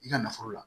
I ka nafolo la